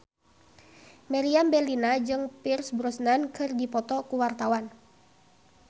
Meriam Bellina jeung Pierce Brosnan keur dipoto ku wartawan